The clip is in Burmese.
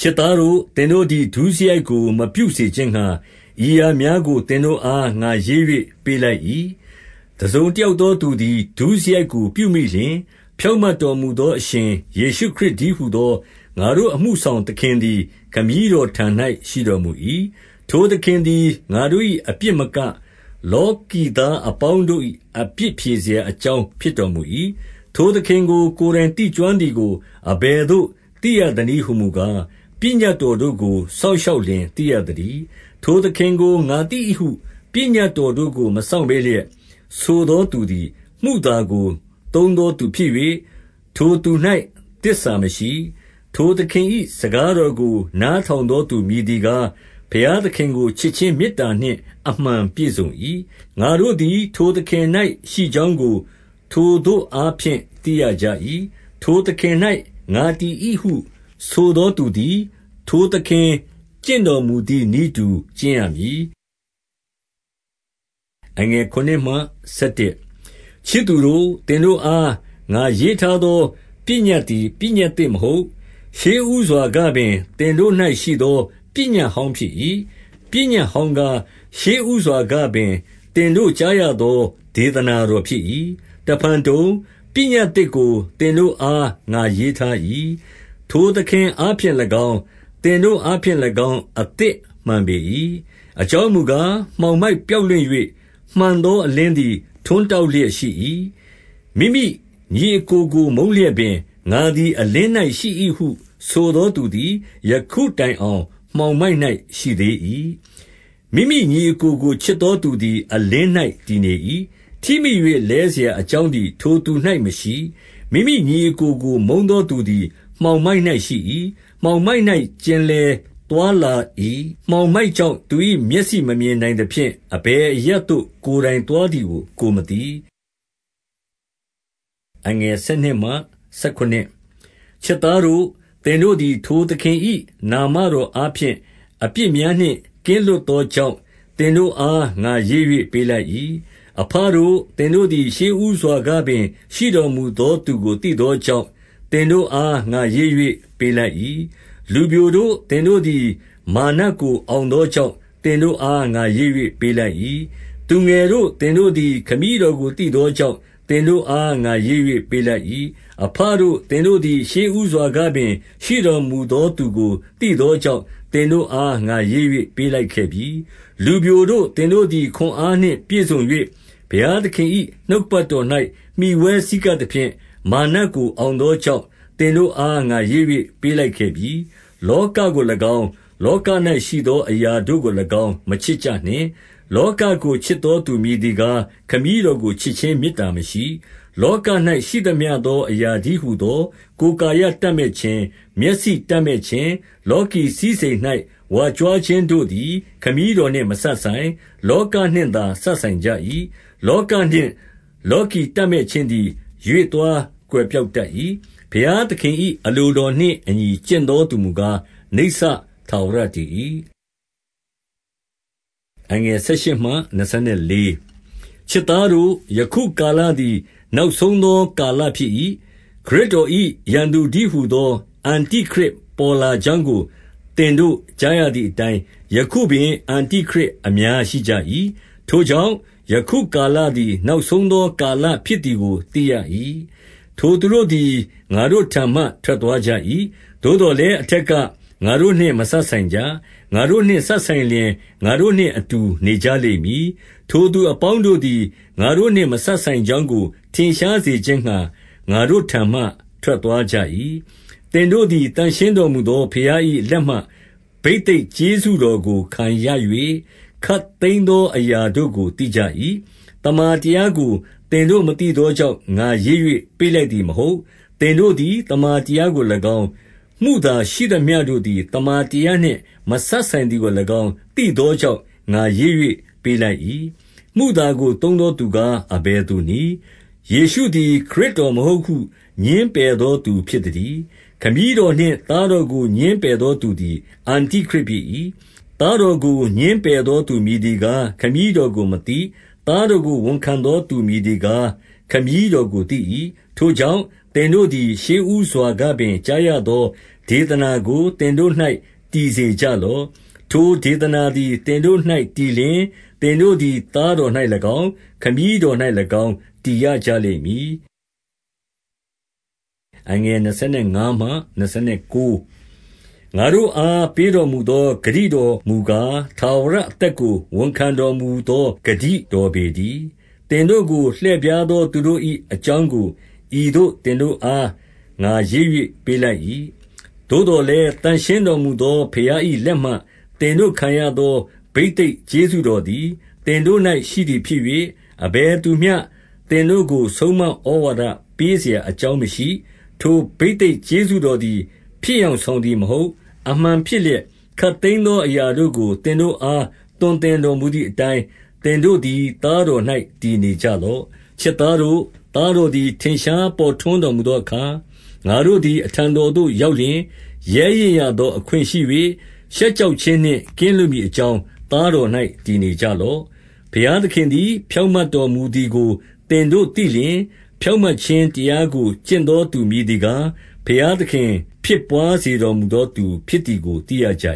ချစ်သားတို့၊ သင်တို့သည်ဒုစရိုက်ကိုမပြုစေခြင်းငှါ ဤအရာများကိုသင်တို့အား ငါရေး၍ပေးလိုက်၏။ တစုံတယောက်သောသူသည် ဒုစရိုက်ကိုပြုမိလျှင်၊ ဖြောင့်မတ်တော်မူသောအရှင်ယေရှုခရစ်တည်းဟူသော ငါတို့အမှုဆောင်သခင်သည် ခမည်းတော်ထံ၌ ရှိတော်မူ၏။ ထိုသခင်သည်ငါတို့၏အပြစ်မက၊ လောကီသားအပေါင်းတို့၏ အပြစ်ဖြေစရာအကြောင်း ဖြစ်တော်မူ၏။ ထိုသခင်ကို ကိုယ်တိုင်သိကျွမ်းသည်ကိုအဘယ်သို့ သိရသနည်းဟူမူကား၊ ပညတ်တော်တို့ကို စောင့်ရှောက်လျှင် သိရသတည်း။ ထိုသခင်ကို ငါသိ၏ဟုပညတ်တော်တို့ကို မစောင့်ဘဲလျက်ဆိုသောသူသည် မုသာကိုသုံးသောသူ ဖြစ်၍ ထိုသူ၌သစ္စာမရှိ။ ထိုသခင်၏စကားတော်ကို နားထောင်သောသူ မည်သည်ကား၊ ဘုရားသခင်ကို ချစ်ခြင်းမေတ္တာနှင့် အမှန်ပြည့်စုံ၏။ ငါတို့သည် သခင်၌ရှိကြောင်းကို ထိုသို့အားဖြင့်သိရကြ၏။ ထိုသခင်၌ငါတည်၏ဟုဆိုသောသူသည်၊ ထိုသခင်ကျင့်တော်မူသည်နည်းတူ ကျင့်ရမည်။ ချစ်သူတို့၊ သင်တို့အား ငါရေးထားသော ပညတ်သည် ပညတ်သစ်မဟုတ်။ ရှေ့ဦးစွာကပင် သင်တို့၌ ရှိသော ပညတ်ဟောင်းဖြစ်၏။ ပညတ်ဟောင်းကား၊ ရှေ့ဦးစွာကပင်သင်တို့ကြားရသော ဒေသနာတော်ဖြစ်၏။ တဖန်တုံ၊ ပညတ်သစ်ကို သင်တို့အား ငါရေးထား၏။ ထိုသခင်အားဖြင့်၎င်း၊ သင်တို့အားဖြင့်၎င်း၊ အသစ်မှန်ပေ၏။ အကြောင်းမူကား မှောင်မိုက်ပျောက်လွင့်၍ မှန်သောအလင်းသည် ထွန်းတောက်လျက်ရှိ၏။ မိမိညီအစ်ကိုကိုမုန်းလျက်ပင်၊ ငါသည် အလင်း၌ရှိ၏ ဟုဆိုသောသူသည်ယခုတိုင်အောင် မှောင်မိုက်၌ ရှိသေး၏။ မိမိညီအစ်ကိုကိုချစ်သောသူသည် အလင်း၌ တည်နေ၏။ ထိမိ၍ လဲစရာအကြောင်းသည်ထိုသူ၌မရှိ။ မိမိညီအစ်ကိုကို မုန်းသောသူသည် မှောင်မိုက်၌ရှိ၏။ မှောင်မိုက်၌လည်းကျင်လည်သွားလာ၏။ မှောင် မိုက်ကြောင့်သူ၏မျက်စိ မမြင်နိုင်သဖြင့်၊ အဘယ်အရပ်သို့ ကိုယ်သွားသည်ကိုကိုယ်မသိ။ ချစ်သားတို့၊ သင်တို့သည် ထိုသခင်၏ နာမတော်အားဖြင့် အပြစ်များနှင့်ကင်းလွတ်သောကြောင့်၊ သင်တို့အားငါရေး၍ပေးလိုက်၏။ အဘတို့၊ သင်တို့သည် ရှေ့ဦးစွာကပင် ရှိတော်မူသောသူကိုသိသောကြောင့်၊ သင်တို့အားငါရေး၍ ပေးလိုက်၏။ လူပျိုတို့၊ သင်တို့သည် မာရ်နတ်ကိုအောင်သောကြောင့်၊ သင်တို့အားငါရေး၍ ပေးလိုက်၏။ သူငယ်တို့၊ သင်တို့သည် ခမည်းတော်ကိုသိသောကြောင့်၊ သင်တို့အား ငါရေး၍ပေးလိုက်၏။ အဘတို့၊ သင်တို့သည် ရှေ့ဦးစွာကပင် ရှိတော်မူသောသူကိုသိသောကြောင့်၊ သင်တို့အား ငါရေး၍ ပေးလိုက်ခဲ့ပြီ။ လူပျိုတို့၊ သင်တို့သည် ခွန်အားနှင့်ပြည့်စုံ၍၊ ဘုရားသခင်၏နှုတ်ကပတ်တော်၌ မှီဝဲဆည်းကပ် သဖြင့် မာရ်နတ်ကိုအောင်သောကြောင့်၊ သင်တို့အား ငါရေး၍ ပေးလိုက်ခဲ့ပြီ။ လောကကို၎င်း၊ လောက၌ရှိသောအရာတို့ကို၎င်း၊ မချစ်ကြနှင့်။ လောကကိုချစ်သောသူမည်သည်ကား၊ ခမည်းတော်ကို ချစ်ခြင်းမေတ္တာမရှိ။ လောက၌ရှိသမျှသော အရာတည်းဟူသော ကိုယ်ကာယတပ်မက်ခြင်း၊ မျက်စိတပ်မက်ခြင်း၊ လောကီ စည်းစိမ်၌ဝါကြွားခြင်းတို့သည် ခမည်းတော်နှင့်မစပ်ဆိုင်၊ လောကနှင့်သာစပ်ဆိုင်ကြ၏။ လောကနှင့်လောကီတပ်မက်ခြင်းသည် ရွေ့သွားကွယ်ပျောက်တတ်၏။ ဘုရားသခင်၏ အလိုတော်နှင့် အညီ ကျင့်သောသူမူကား၊ နိစ္စထာဝရတည်၏။ ချစ်သားတို့၊ ယခုကာလသည် နောက်ဆုံးသောကာလဖြစ်၏။ ခရစ်တော်၏ ရန်သူတည်းဟူသော အန္တိခရစ် ပေါ်လာကြောင်းကို သင်တို့ကြားရသည်အတိုင်း၊ ယခုပင်အန္တိခရစ်အများရှိကြ၏။ ထိုကြောင့်၊ ယခု ကာလသည်နောက်ဆုံးသောကာလဖြစ်သည်ကိုသိရ၏။ ထိုသူတို့သည် ငါတို့ထံမှထွက်သွားကြ၏။ သို့သော်လည်း အထက်ကငါတို့နှင့်မစပ်ဆိုင်ကြ။ ငါတို့နှင့်စပ်ဆိုင်လျှင် ငါတို့နှင့်အတူနေကြလိမ့်မည်။ ထိုသူအပေါင်းတို့သည် ငါတို့နှင့်မစပ်ဆိုင်ကြောင်းကို ထင်ရှားစေခြင်းငှါ၊ ငါတို့ထံမှ ထွက်သွားကြ၏။ သင်တို့သည် သန့်ရှင်းတော်မူသောဘုရား၏ လက်မှဘိသိတ်ကျေးဇူးတော်ကိုခံရ၍၊ ခပ်သိမ်းသော အရာတို့ကို သိကြ၏။ သမ္မာတရားကို သင်တို့မသိသောကြောင့်၊ ငါရေး၍ ပေးလိုက်သည်မဟုတ်။ သင်တို့သည် သမ္မာတရား ကို၎င်း၊ မုသာရှိသမျှတို့သည် သမ္မာတရားနှင့် မစပ်ဆိုင်သည်ကို၎င်း၊ သိသောကြောင့် ငါရေး၍ပေးလိုက်၏။ မုသာကိုသုံးသောသူကားအဘယ်သူနည်း။ ယေရှုသည်ခရစ်တော်မဟုတ်ဟု ငြင်းပယ်သောသူ ဖြစ်သတည်း။ ခမည်းတော်နှင့် သားတော်ကို ငြင်းပယ်သော သူသည် အန္တိခရစ်ဖြစ်၏။ သားတော်ကိုငြင်းပယ်သောသူမည်သည်ကား၊ ခမည်းတော်ကိုမသိ။ သားတော်ကို ဝန်ခံသောသူ မည်သည်ကား၊ ခမည်းတော်ကိုသိ၏။ ထိုကြောင့်၊ သင်တို့သည် ရှေ့ဦးစွာကပင် ကြားရသော ဒေသနာကို သင်တို့၌ တည်စေကြလော့။ ထိုဒေသနာသည် သင်တို့၌တည်လျှင်၊ သင်တို့သည် သားတော်၌၎င်း၊ ခမည်းတော်၌၎င်း၊ တည်ရကြလိမ့်မည်။ ငါတို့အား ပေးတော်မူသောဂတိတော်မူကား၊ ထာဝရအသက်ကို ဝန်ခံတော်မူသောဂတိတော် ပေတည်း။ သင်တို့ကို လှည့်ဖြားသောသူတို့၏အကြောင်းကို ဤသို့ သင်တို့အား ငါရေး၍ပေးလိုက်၏။ သို့သော်လည်း သန့်ရှင်းတော်မူသောဘုရား၏လက်မှ သင်တို့ခံရသော ဘိသိတ်ကျေးဇူးတော်သည် သင်တို့၌ရှိသည်ဖြစ်၍၊ အဘယ်သူမျှ သင်တို့ကို ဆုံးမဩဝါဒပေးစရာအကြောင်းမရှိ။ ထိုဘိသိတ် ကျေးဇူးတော်သည် ဖြစ်ယောင်ဆောင်သည်မဟုတ်၊ အမှန်ဖြစ်လျက် ခပ်သိမ်းသောအရာတို့ကို သင်တို့အား သွန်သင်တော်မူသည်အတိုင်း၊ သင်တို့သည် သားတော်၌တည်နေကြလော့။ ချစ်သားတို့၊ သားတော်သည်ထင်ရှား ပေါ်ထွန်းတော်မူသောအခါ၊ ငါတို့သည် အထံတော်သို့ ရောက်လျှင်၊ ရဲရင့်ရသောအခွင့်ရှိ၍၊ ရှက်ကြောက်ခြင်းနှင့် ကင်းလွတ်မည်အကြောင်း သားတော်၌ တည်နေကြလော့။ ဘုရားသခင်သည် ဖြောင့်မတ်တော်မူသည်ကို သင်တို့သည်သိလျှင်၊ ဖြောင့်မတ်ခြင်းတရားကို ကျင့်သောသူ မည်သည်ကား၊ ဘုရားသခင် ဖြစ်ဘွားစေတော်မူသောသူဖြစ်သည်ကို သိရကြ